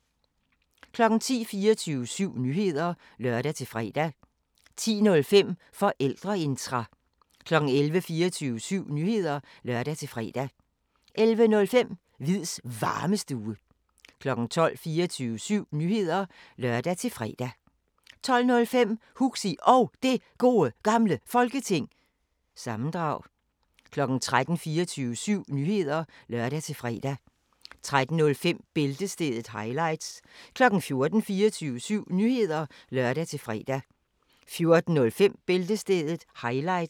10:00: 24syv Nyheder (lør-fre) 10:05: Forældreintra 11:00: 24syv Nyheder (lør-fre) 11:05: Hviids Varmestue 12:00: 24syv Nyheder (lør-fre) 12:05: Huxi Og Det Gode Gamle Folketing- sammendrag 13:00: 24syv Nyheder (lør-fre) 13:05: Bæltestedet – highlights 14:00: 24syv Nyheder (lør-fre) 14:05: Bæltestedet – highlights